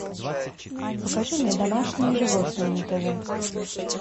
покажи мне домашние животные на тв